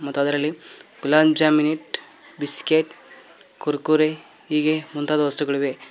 ಮತ್ತೆ ಅದರಲ್ಲಿ ಗುಲಾಂಚಮಿನಿ ಬಿಸ್ಕೆಟ್ ಕುರ್ಕುರೆ ಹೀಗೆ ಮುಂತಾದ ವಸ್ತುಗಳಿವೆ.